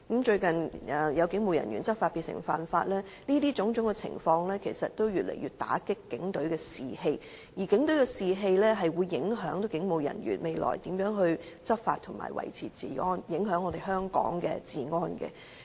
最近，有警務人員執法變成犯法，種種情況其實越來越打擊警隊士氣，而警隊士氣會影響警務人員未來如何執法及維持治安，影響香港的治安。